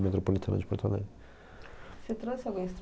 Metropolitana de Porto Alegre. Você trouxe algum